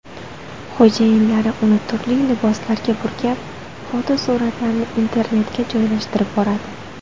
Xo‘jayinlari uni turli liboslarga burkab, fotosuratlarini internetga joylashtirib boradi.